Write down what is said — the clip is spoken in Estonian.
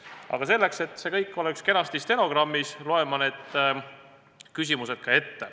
Aga selleks, et see kõik saaks kenasti ka stenogrammi kirja, loen ma need küsimused ette.